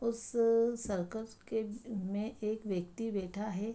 उस सर्कस के में एक व्यक्ति बैठा है।